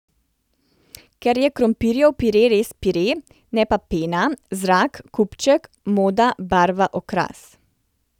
Ker je krompirjev pire res pire, ne pa pena, zrak, kupček, moda, barva, okras.